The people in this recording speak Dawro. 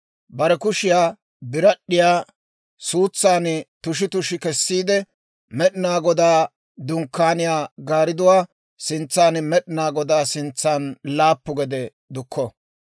Bare kushiyaa birad'd'iyaa suutsan tushi tushi kessiide, Med'inaa Godaa Dunkkaaniyaa gaaridduwaa sintsan Med'inaa Godaa sintsan laappu gede dukko.